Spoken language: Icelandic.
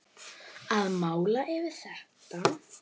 Að mála yfir þetta.